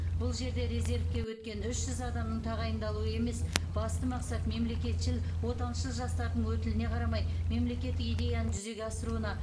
бұл жерде резервке өткен үш жүз адамның тағайындалуы емес басты мақсат мемлекетшіл отаншыл жастардың өтіліне қарамай мемлекеттік идеяны жүзеге асыруына